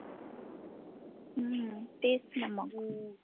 हम्म तेचना मग.